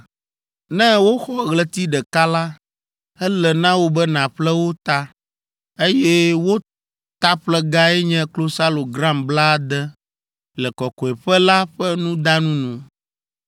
Ne woxɔ ɣleti ɖeka la, ele na wò be nàƒle wo ta, eye wo taƒlegae nye klosalo gram blaade, le kɔkɔeƒe la ƒe nudanu nu.